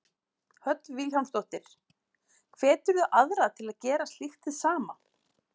Hödd Vilhjálmsdóttir: Hveturðu aðra til að gera slíkt hið sama?